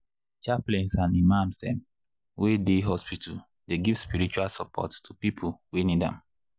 chaplains and imams dem wey dey hospital dey give spiritual support to people wey need am.